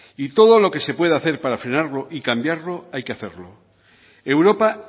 y todo lo que se puede hacer para frenarlo y cambiarlo hay que hacerlo europa